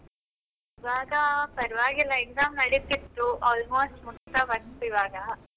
ಇವಾಗ ಪರವಾಗಿಲ್ಲ exam ನಡೀತಿತ್ತು, almost ಮುಗೀತಾ ಬಂತು ಈವಾಗ.